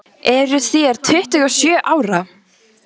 Eruð þér tuttugu og sjö ára.